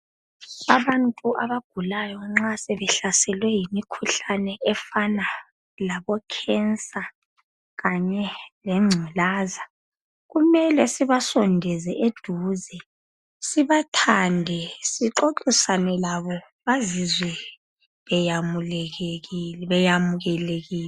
Abantu abagulayo nxa sebehlaselwe yimikhuhlane efana labo cancer kanye lengculaza kumele sibasondele eduze sibathande sixoxisane labo bazizwe be yamukelekile